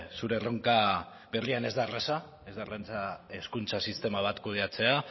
zure erronka berrian ez da erraza ez da erraza hezkuntza sistema bat kudeatzea